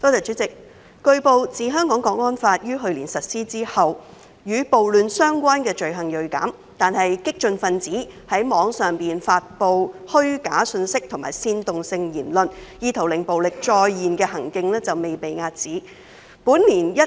主席，據報，自《香港國安法》於去年實施後，與暴亂相關罪行銳減，但激進分子在網上發放虛假資訊和煽動性言論，意圖令暴力再現的行徑未被遏止。